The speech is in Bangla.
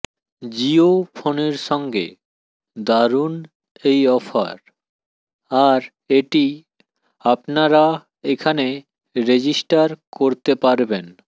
জিওফোনের সঙ্গে দারুন এই অফার আর এটি আপনারা এখানে রেজিস্টার করতে পারবেন